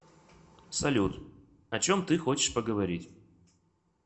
салют о чем ты хочешь поговорить